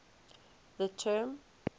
the term